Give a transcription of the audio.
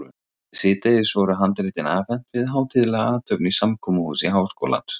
Síðdegis voru handritin afhent við hátíðlega athöfn í samkomuhúsi Háskólans.